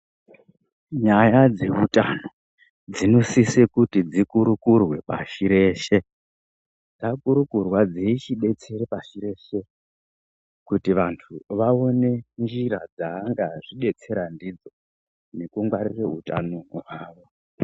Nyaya dzeutano dzinosise kuti dzikurukurwe pashi reshe. Dzakurukurwa dzeichibetsera pashi reshe kuti vantu vaone njira dzaangadzibetsera ndidzo nekungwarira hutano hwavo..